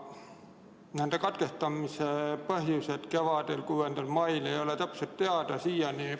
Selle katkestamise põhjused kevadel, 6. mail ei ole siiani täpselt teada.